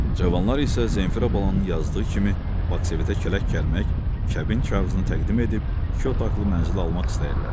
Cavanlar isə Zenfira balanın yazdığı kimi Baksovetə kələk gəlmək, kəbin kağızını təqdim edib iki otaqlı mənzili almaq istəyirlər.